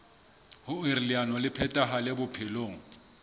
hoer leano le phethahale bophelong